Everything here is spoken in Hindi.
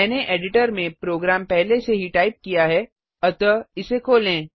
मैंने एडिटर में प्रोग्राम पहले से ही टाइप किया है अतः इसे खोलें